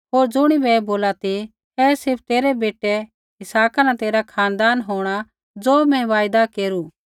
होर ज़ुणिबै ऐ बोलू ती ऐ सिर्फ़ तेरै बेटै इसहाका न तेरा खानदान होंणा ज़ो मैं वायदा केरू